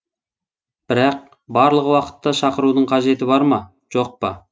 бірақ барлық уақытта шақырудың қажеті бар ма жоқ па